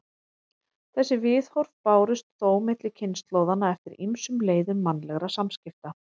Þessi viðhorf bárust þó milli kynslóðanna eftir ýmsum leiðum mannlegra samskipta.